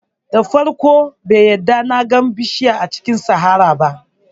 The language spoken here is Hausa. Da farko bai yarda na ga bishiyu a cikin saharar ba